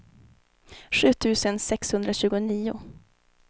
sju tusen sexhundratjugonio